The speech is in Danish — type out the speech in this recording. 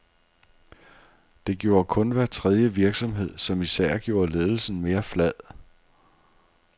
Det gjorde kun hver tredje virksomhed, som især gjorde ledelsen mere flad.